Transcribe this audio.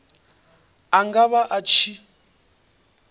a nga vha a tshi